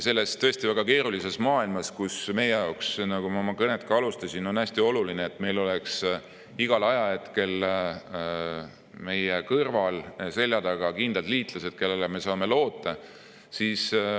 Selles tõesti väga keerulises maailmas on meie jaoks, nagu ma oma kõnet alustades ütlesin, hästi oluline see, et meil oleks igal ajahetkel meie kõrval ja selja taga kindlad liitlased, kellele me saame loota.